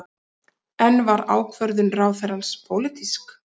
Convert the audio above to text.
En var ákvörðun ráðherrans pólitísk?